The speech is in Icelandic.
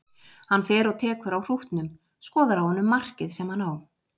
Hann fer og tekur á hrútnum, skoðar á honum markið sem hann á.